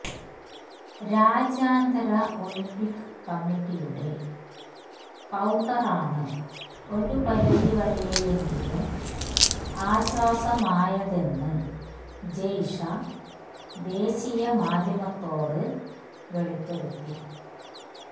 രാജ്യാന്തര ഒളിമ്പിക് കമ്മിറ്റിയുടെ കൌണ്ടറാണ് ഒരു പരിധി വരെയെങ്കിലും ആശ്വാസമായതെന്ന് ജയ്ഷ ദേശീയ മാധ്യമത്തോട് വെളിപ്പെടുത്തി